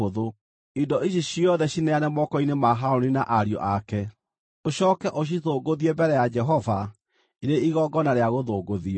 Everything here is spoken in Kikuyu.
Indo ici ciothe cineane moko-inĩ ma Harũni na ariũ ake, ũcooke ũcithũngũthie mbere ya Jehova ĩrĩ Igongona rĩa gũthũngũthio.